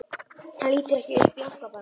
Hann lítur ekki upp, jánkar bara.